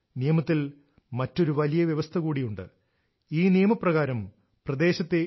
നിയമത്തിൽ മറ്റൊരു വലിയ വ്യവസ്ഥ കൂടിയുണ്ട് ഈ നിയമപ്രകാരം പ്രദേശത്തെ എസ്